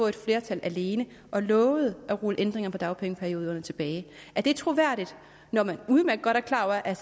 et flertal alene og lovede at rulle ændringerne i dagpengeperioderne tilbage er det troværdigt når man udmærket godt er klar over at